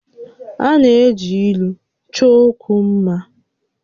A na-eji ílú chọọ ókwú mmá